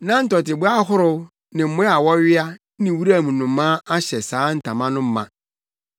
Na ntɔteboa ahorow ne mmoa a wɔwea ne wuram nnomaa ahyɛ saa ntama no ma.